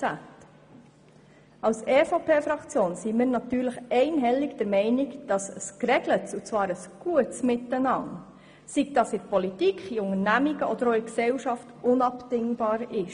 Die EVP-Fraktion ist natürlich einhellig der Ansicht, dass ein geregeltes und gutes Miteinander in der Politik, in Unternehmungen und auch in der Gesellschaft unabdingbar ist.